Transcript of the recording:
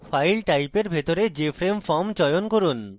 file type এর ভিতরে jframe form চয়ন করুন